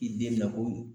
I den mi na ko